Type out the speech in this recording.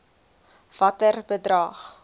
watter bedrag